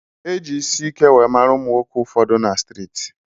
Eji isike weree mara ụmụnwoke ụfọdụ na striti.